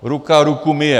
Ruka ruku myje.